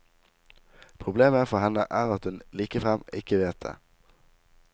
Problemet for henne er at hun likefrem ikke vet det.